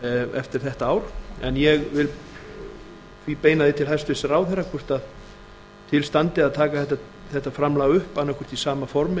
eftir þetta ár en ég vil því beina því til hæstvirts ráðherra hvort til standi að taka þetta framlag upp annaðhvort í sama formi